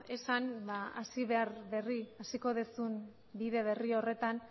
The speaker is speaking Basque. esan hasiko duzun bide berri horretan